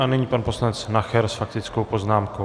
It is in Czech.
A nyní pan poslanec Nacher s faktickou poznámkou.